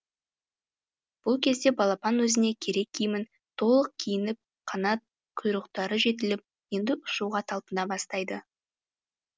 бұл кезде балапан өзіне керек киімін толық киініп қанат құйрықтары жетіліп енді ұшуға талпына бастайды